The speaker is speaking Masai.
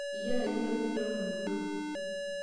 iyie enarikini pee intoomom iyiook